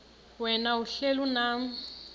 wena uhlel unam